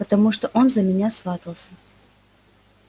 потому что он за меня сватался